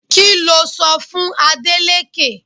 Kí lo sọ fún Adeleke?